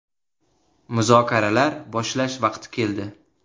Muzokaralar boshlash vaqti keldi.